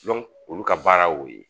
olu ka baara y'o ye